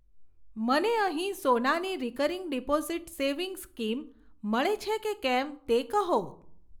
મને અહીં સોનાની રિકરિંગ ડીપોઝીટ સેવિંગ્સ સ્કીમ મળે છે કે કેમ તે કહો.